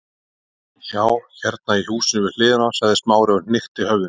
Já, hérna í húsinu við hliðina- sagði Smári og hnykkti höfðinu.